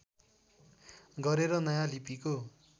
गरेर नयाँ लिपिको